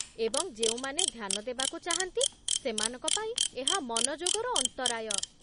ଏବଂ ଯେଉଁମାନେ ଧ୍ୟାନ ଦେବାକୁ ଚାହାନ୍ତି ସେମାନଙ୍କ ପାଇଁ ଏହା ମନଯୋଗର ଅନ୍ତରାୟ।